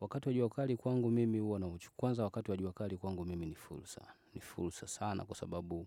Wakati wa jua kali kwangu mimi ni fulsa, ni fulsa sana kwa sababu